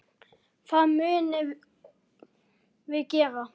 Það munum við gera.